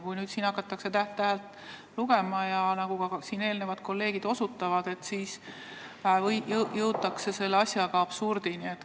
Kui seda punkti hakatakse täht-tähelt lugema, siis nagu kolleegid juba osutasid, jõutakse absurdini.